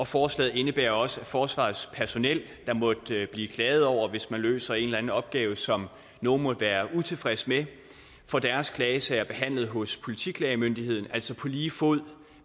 forslaget indebærer også at forsvarets personel der måtte blive klaget over hvis man løser en eller anden opgave som nogle måtte være utilfredse med får deres klagesager behandlet hos politiklagemyndigheden altså på lige fod